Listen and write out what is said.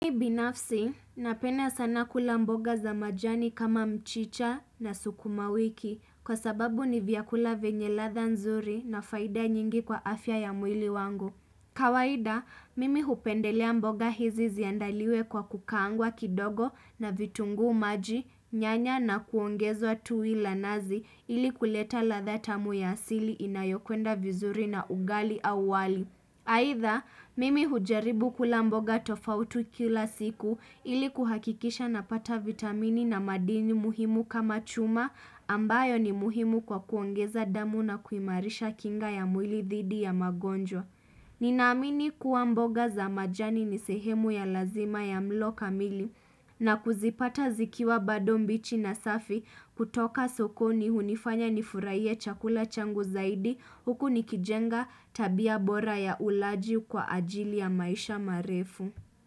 Mimi binafsi, napenda sana kula mboga za majani kama mchicha na sukuma wiki, kwa sababu ni vyakula vyenye ladha nzuri na faida nyingi kwa afya ya mwili wangu. Kawaida, mimi hupendelea mboga hizi ziandaliwe kwa kukaangwa kidogo na vitungu, maji, nyanya na kuongezwa tui la nazi ili kuleta latha tamu ya asili inayokwenda vizuri na ugali wali. Haitha, mimi hujaribu kula mboga tofauti kila siku, ili kuhakikisha napata vitamini na madini muhimu kama chuma, ambayo ni muhimu kwa kuongeza damu na kuimarisha kinga ya mwili thidi ya magonjo. Ninaamini kuwa mboga za majani nisehemu ya lazima ya mlo kamili, na kuzipata zikiwa bado mbichi na safi, kutoka sokoni hunifanya nifurahie chakula changu zaidi, huku nikijenga tabia bora ya ulaji kwa ajili ya maisha marefu.